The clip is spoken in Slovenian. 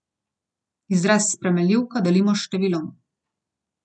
Izraz s spremenljivko delimo s številom.